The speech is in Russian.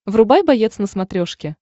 врубай боец на смотрешке